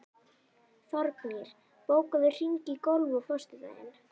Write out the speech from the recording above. Þórgnýr, bókaðu hring í golf á föstudaginn.